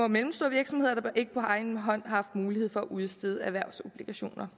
mellemstore virksomheder der ikke på egen hånd har mulighed for at udstede erhvervsobligationer